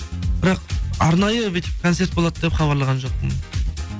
бірақ арнайы бүйтіп концерт болады деп хабарлаған жоқпын